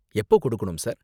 எப்ப கொடுக்கணும் சார்?